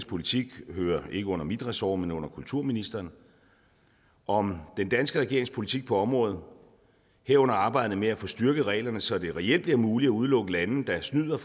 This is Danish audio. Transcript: politik hører ikke under mit ressort men under kulturministerens om den danske regerings politik på området herunder arbejdet med at få styrket reglerne så det reelt bliver muligt at udelukke lande der snyder